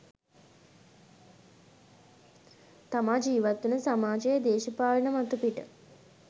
තමා ජීවත් වන සමාජයේ දේශපාලන මතුපිට